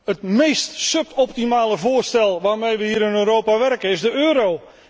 Het meest suboptimale voorstel waarmee we hier in Europa werken, is de euro.